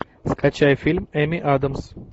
скачай фильм эми адамс